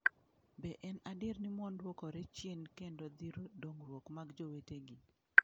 Be en adier ni mon duokore chien kendo thiro dongruok mag jowetegi.